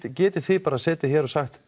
en getið þið setið hér og sagt